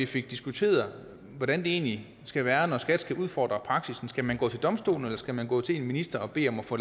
fik diskuteret hvordan det egentlig skal være når skat skal udfordre praksis skal man gå til domstolene eller skal man gå til en minister og bede om at få